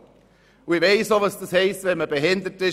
Und ich weiss auch, was das heisst, behindert zu sein.